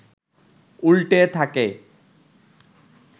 উল্টে থাকে